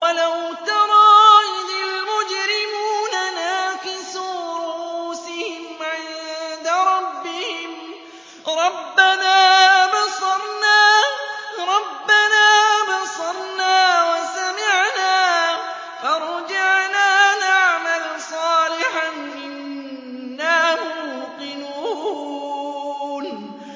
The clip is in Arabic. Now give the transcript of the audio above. وَلَوْ تَرَىٰ إِذِ الْمُجْرِمُونَ نَاكِسُو رُءُوسِهِمْ عِندَ رَبِّهِمْ رَبَّنَا أَبْصَرْنَا وَسَمِعْنَا فَارْجِعْنَا نَعْمَلْ صَالِحًا إِنَّا مُوقِنُونَ